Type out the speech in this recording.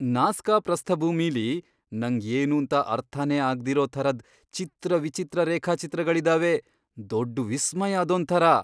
Nazca ಪ್ರಸ್ಥಭೂಮಿಲಿ ನಂಗ್ ಏನೂಂತ ಅರ್ಥನೇ ಆಗ್ದಿರೋ ಥರದ್ ಚಿತ್ರವಿಚಿತ್ರ ರೇಖಾಚಿತ್ರಗಳಿದಾವೆ, ದೊಡ್ಡ್ ವಿಸ್ಮಯ ಅದೊಂಥರ!